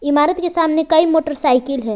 इमारत के सामने कई मोटरसाइकिल है।